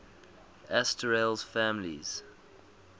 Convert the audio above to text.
asterales families